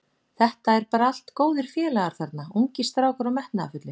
Þetta eru bara allt góðir félagar þarna, ungir strákar og metnaðarfullir.